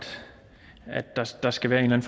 der skal være en